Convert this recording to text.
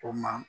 O ma